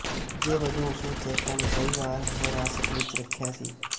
ਨਤੀਜੇ ਵਜੋਂ ਉਸਨੂੰ ਚੇਕਾ ਨੇ ਕਈ ਵਾਰ ਹਿਰਾਸਤ ਵਿੱਚ ਰੱਖਿਆ ਸੀ